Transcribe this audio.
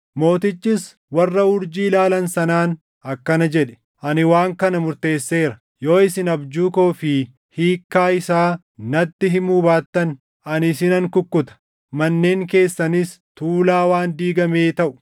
Mootichis warra urjii ilaalan sanaan akkana jedhe; “Ani waan kana murteesseera: Yoo isin abjuu koo fi hiikkaa isaa natti himuu baattan ani isinan kukkuta; manneen keessanis tuulaa waan diigamee taʼu.